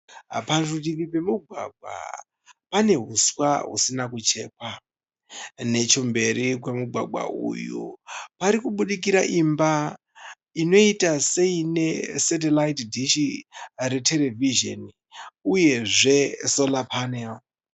Parutivi pemugwagwa pane huswa husina kuchekwa, nechemberi kwemugwagwa uyu pari kubudikira imba inoita seine setiraiti dishi reterevizini uyezve sora panero.